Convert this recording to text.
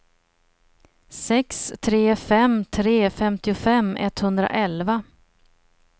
sex tre fem tre femtiofem etthundraelva